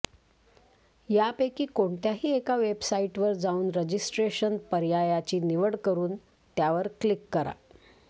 यापैकी कोणत्याही एका वेबसाइटवर जाऊन रजिस्ट्रेशन पर्यायाची निवड करून त्यावर क्लिक करा